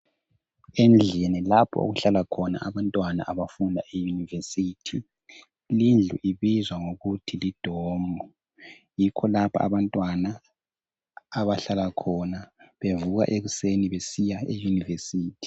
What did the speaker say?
Endlini lapho okuhlala khona abantwana abafunda e yunivesithi. Lindlu ibizwa ngokuthi lidomu yikho lapha abantwana abahlala khona bevuka ekuseni besiya eyunivesithi.